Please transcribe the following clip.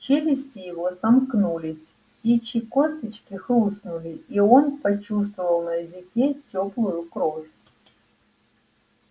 челюсти его сомкнулись птичьи косточки хрустнули и он почувствовал на языке тёплую кровь